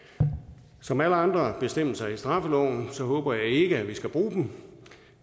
som ved alle andre bestemmelser i straffeloven håber jeg ikke at vi skal bruge den